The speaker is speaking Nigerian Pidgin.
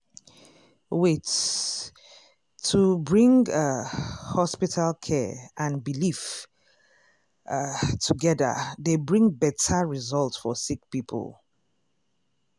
wait- to bring ah hospital care and belief ah togeda dey bring beta result for sick poeple.